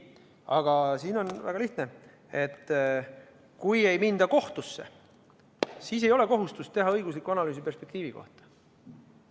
Aga siin on kõik väga lihtne: kui ei minda kohtusse, siis ei ole kohustust teha õiguslikku analüüsi perspektiivi kohta.